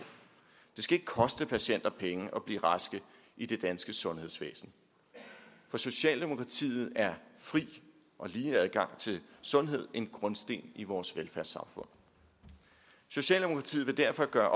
det skal ikke koste patienter penge at blive raske i det danske sundhedsvæsen for socialdemokratiet er fri og lige adgang til sundhed en grundsten i vores velfærdssamfund socialdemokratiet vil derfor gøre